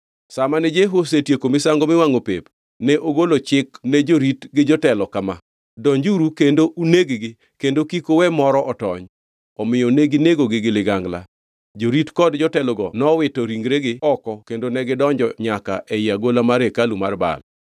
Sa mane Jehu osetieko misango miwangʼo pep, ne ogolo chikne jorit gi jotelo kama: “Donjuru kendo uneg-gi, kendo kik uwe moro otony.” Omiyo neginegogi gi ligangla. Jorit kod jotelogo nowito ringregi oko kendo negidonjo nyaka ei agola mar hekalu mar Baal.